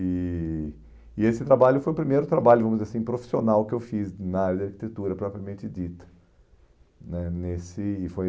E e esse trabalho foi o primeiro trabalho, vamos dizer assim, profissional que eu fiz na área de arquitetura propriamente dita, né nesse, foi